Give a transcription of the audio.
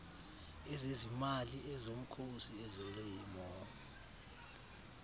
ezezimali ezomkhosi ezolimo